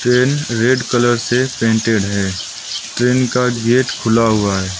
Train red colour से प्रिंटेड है ट्रेन का गेट खुला हुआ है।